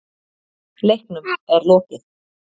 Leiknum er lokið